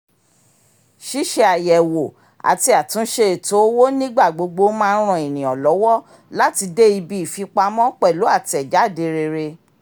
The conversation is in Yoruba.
ṣíṣe àyẹ̀wò àti àtúnṣe ètò owó nígbà gbogbo máa ń ràn ènìyàn lọ́wọ́ láti dé ibi ìfipamọ́ pẹ̀lú àtẹ̀jáde rere